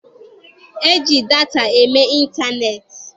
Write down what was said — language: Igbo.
E ji data eme ịntaneetị.